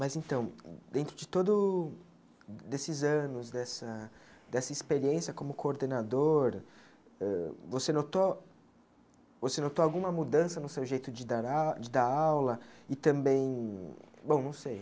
Mas, então, dentro de todo desses anos, dessa dessa experiência como coordenador, eh você notou vocè notou alguma mudança no seu jeito de dar au de dar aula e também, bom, não sei,